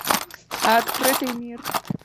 открытый мир